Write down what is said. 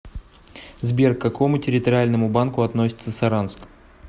сбер к какому территориальному банку относится саранск